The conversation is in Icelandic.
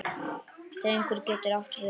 Drengur getur átt við